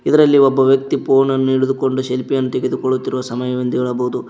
ಇದ್ರಲ್ಲಿ ಒಬ್ಬ ವ್ಯಕ್ತಿ ಫೋನ್ ಅನ್ನು ಹಿಡಿದುಕೊಂಡು ಸೆಲ್ಫಿ ಯನ್ನು ತೆಗೆದುಕೊಳ್ಳುತ್ತಿರುವ ಸಮಯ ಎಂದು ಹೇಳಬಹುದು.